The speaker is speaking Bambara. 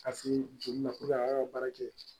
Ka se joli na a y'a ka baara kɛ